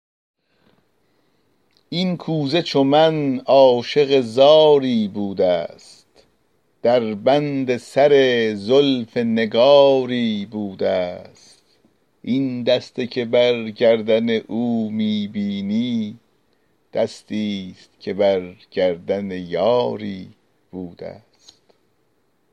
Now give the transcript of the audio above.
این کوزه چو من عاشق زاری بوده ست در بند سر زلف نگاری بوده ست این دسته که بر گردن او می بینی دستی ست که بر گردن یاری بوده ست